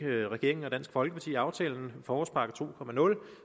regeringen og dansk folkeparti aftalen forårspakke 20